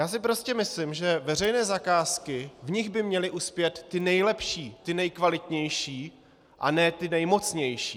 Já si prostě myslím, že veřejné zakázky - v nich by měly uspět ty nejlepší, ty nejkvalitnější, a ne ty nejmocnější.